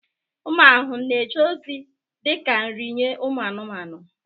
Ụmụ ahụhụ na-eje ozi dị ka nri nye ụmụ anụmanụ.